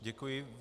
Děkuji.